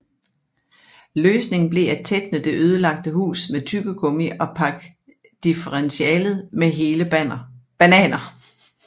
Løsningen blev at tætne det ødelagte hus med tyggegummi og pakke differentialet med hele bananer